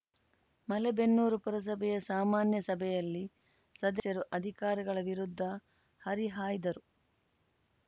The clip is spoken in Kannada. ಮಲೇಬೆನ್ನೂರು ಪುರಸಭೆಯ ಸಾಮಾನ್ಯ ಸಭೆಯಲ್ಲಿ ಸದಸ್ಯರು ಅಧಿಕಾರಿಗಳ ವಿರುದ್ಧ ಹರಿಹಾಯ್ದರು